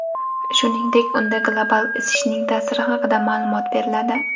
Shuningdek, unda global isishning ta’siri haqida ma’lumot beriladi.